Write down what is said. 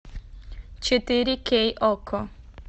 четыре кей окко